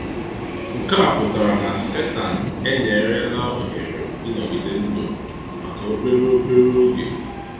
Nke a pụtara na Sátán enyerela ohere ịnọgide ndụ maka obere obere oge.